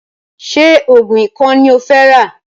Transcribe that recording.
Ṣé oògùn ikọ́ ní o fẹ́ rà?